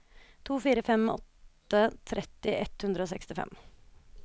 to fire fem åtte tretti ett hundre og sekstifem